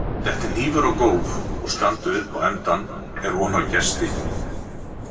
detti hnífur á gólf og standi upp á endann er von á gesti